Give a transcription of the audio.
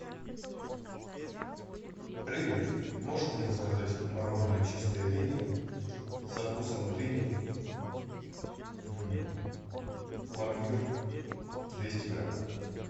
привет можешь мне заказать мороженое чистая линия со вкусом дыни пломбир двести грамм